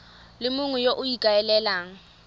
le mongwe yo o ikaelelang